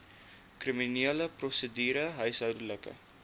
kriminele prosedure huishoudelike